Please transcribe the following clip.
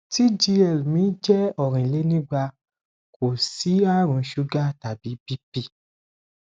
tgl mi jẹ orinlenigba kò sí àrùn suga tàbí bp